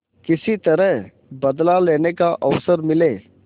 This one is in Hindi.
किसी तरह बदला लेने का अवसर मिले